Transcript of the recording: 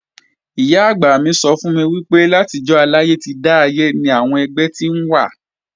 Ìyá-àgbà mi sọ fún mi pé látijọ́ aláyé ti dáyé ni àwọn ẹgbẹ́ ti wà